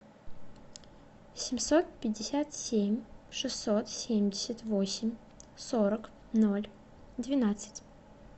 семьсот пятьдесят семь шестьсот семьдесят восемь сорок ноль двенадцать